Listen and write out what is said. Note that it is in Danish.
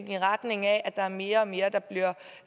i retning af at der er mere og mere der bliver